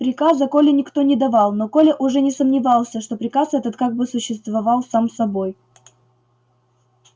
приказа коле никто не давал но коля уже не сомневался что приказ этот как бы существовал сам собой